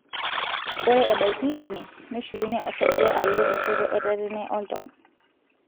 ore ebaiki ine, neshukunyie osarge alo enchoto etatene oltau.